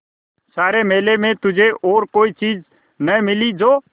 सारे मेले में तुझे और कोई चीज़ न मिली जो